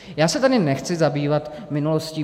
Já se tady nechci zabývat minulostí.